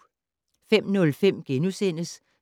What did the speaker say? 05:05: